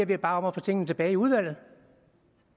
vi bare om at få tingene tilbage i udvalget